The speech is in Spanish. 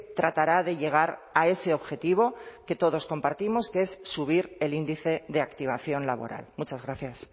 tratará de llegar a ese objetivo que todos compartimos que es subir el índice de activación laboral muchas gracias